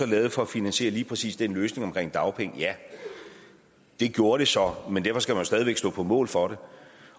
lavet for at finansiere lige præcis den løsning omkring dagpenge ja det gjorde det så men derfor skal man jo stadig væk stå på mål for det